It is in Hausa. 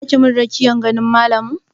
Za ki min rakiyar ganin malamin?